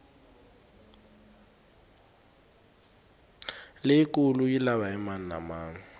leyikulu yi lava hi mani na mani